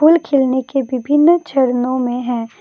फूल खिलने के विभिन्न चरणों में है।